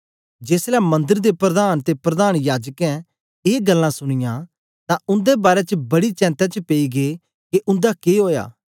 जेसलै मंदर दे प्रधान ते प्रधान याजकें ए गल्लां सुनींयां तां उंदे बारै च बड़ी चेंता च पेई गै के उंदा के ओया